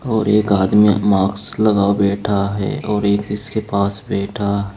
और एक आदमी मास्क लगा बैठा है और एक इसके पास बैठा--